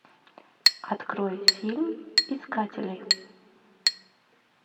открой фильм искатели